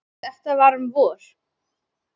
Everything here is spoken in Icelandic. Þetta var um vor.